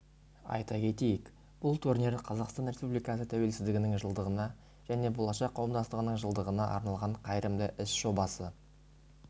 айта кетейік бұл турнир қазақстан республикасы тәуелсіздігінің жылдығына және болашақ қауымдастығының жылдығына арналған қайырымды іс жобасы